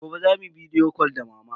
Gobe za mu yi bidiyo cal da mama.